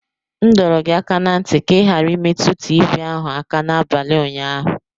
M dọrọ gị aka ná ntị ka ị ghara imetụ tivii ahụ aka n'abalị ụnyaahụ.